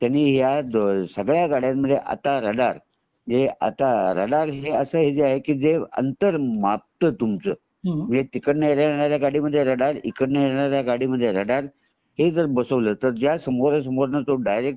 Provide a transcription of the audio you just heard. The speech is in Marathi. त्यांनी ह्या सगळ्या गाड्यांमध्ये रडार आता रडार हे असा आहे जे अंतर मापता तुमच तिकडन येणाऱ्या गाडी मध्ये रडार इकडणा येणाऱ्या गाडी मध्ये रडार हे जर बसवला तर जय समोर समोरून येणाऱ्या डायरेक्ट